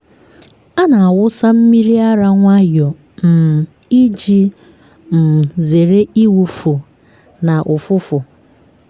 a na-awụsa mmiri ara nwayọọ um iji um zere ịwụfu na ụfụfụ.